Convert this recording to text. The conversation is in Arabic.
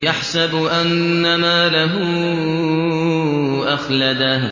يَحْسَبُ أَنَّ مَالَهُ أَخْلَدَهُ